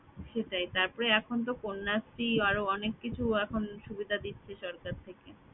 সেটাই তারপরে এখন তো কন্যা স্ত্রী আরও অনেক কিছু এখন সুবিধা দিচ্ছে সরকার থেকে